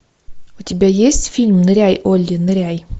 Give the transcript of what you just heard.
у тебя есть фильм ныряй олли ныряй